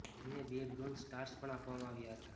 તેને બે bronze stars પણ આપવામાં આવ્યા હતા